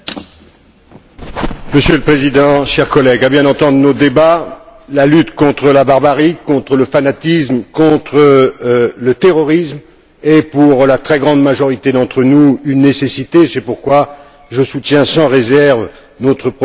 Monsieur le Président, chers collègues, à bien entendre nos débats, la lutte contre la barbarie, contre le fanatisme, contre le terrorisme est pour la très grande majorité d'entre nous une nécessité et c'est pourquoi je soutiens sans réserve notre projet de résolution.